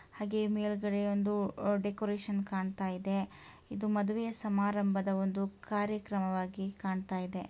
ಹಾಗೆ ಮೇಲ್ಗಡೆ ಒಂದು ಡೆಕೋರೇಷನ್ ಕಾಣಿಸುತ್ತಾ ಇದೆ. ಇದು ಮದುವೆ ಸಮಾರಂಭದ ಒಂದು ಕಾರ್ಯಕ್ರಮವಾಗಿ ಕಾಣ್ತಾ ಇದೆ.